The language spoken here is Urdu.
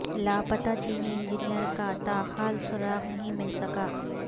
لاپتا چینی انجینئر کا تاحال سراغ نہیں مل سکا